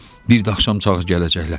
Bir də axşam çağ gələcəklər.